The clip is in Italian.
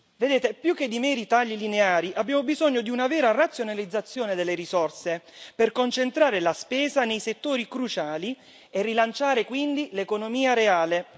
Vedete, più che di meri tagli lineari abbiamo bisogno di una vera razionalizzazione delle risorse per concentrare la spesa nei settori cruciali e rilanciare quindi l'economia reale.